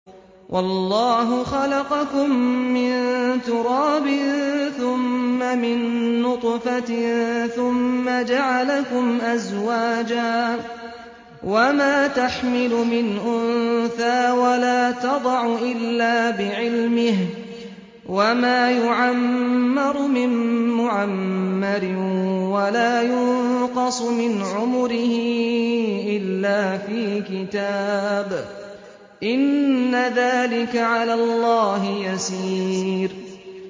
وَاللَّهُ خَلَقَكُم مِّن تُرَابٍ ثُمَّ مِن نُّطْفَةٍ ثُمَّ جَعَلَكُمْ أَزْوَاجًا ۚ وَمَا تَحْمِلُ مِنْ أُنثَىٰ وَلَا تَضَعُ إِلَّا بِعِلْمِهِ ۚ وَمَا يُعَمَّرُ مِن مُّعَمَّرٍ وَلَا يُنقَصُ مِنْ عُمُرِهِ إِلَّا فِي كِتَابٍ ۚ إِنَّ ذَٰلِكَ عَلَى اللَّهِ يَسِيرٌ